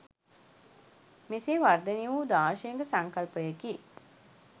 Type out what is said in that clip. මෙසේ වර්ධනය වූ දාර්ශනික සංකල්පයකි.